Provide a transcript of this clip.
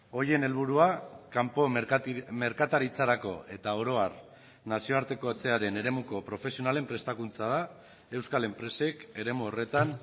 horien helburua kanpo merkataritzarako eta oro har nazioartekotzearen eremuko profesionalen prestakuntza da euskal enpresek eremu horretan